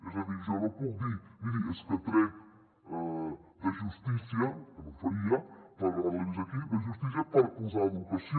és a dir jo no puc dir miri és que trec de justícia que no ho faria però ara l’he vist aquí per posar a educació